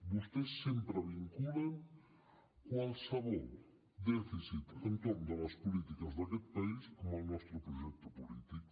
vostès sempre vinculen qualsevol dèficit entorn de les polítiques d’aquest país amb el nostre projecte polític